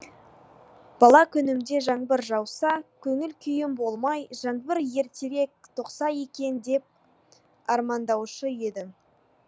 бала күнімде жаңбыр жауса көңіл күйім болмай жаңбыр ертерек тоқса екен деп армандаушы едім